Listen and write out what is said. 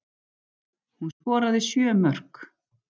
Hún skoraði sjö mörk